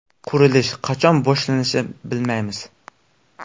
Qurilish qachon boshlanishini bilmaymiz”.